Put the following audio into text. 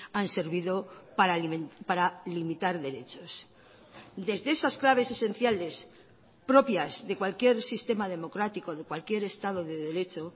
han servido para limitar derechos desde esas claves esenciales propias de cualquier sistema democrático de cualquier estado de derecho